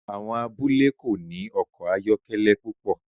Àwọn abúlé kò ní ọkọ̀ ayọ́kẹ́lẹ́ púpọ̀